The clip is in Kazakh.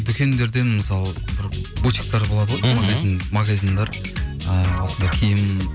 дүкендерден мысалы бір бутиктер болады ғой магазиндер ыыы осындай киім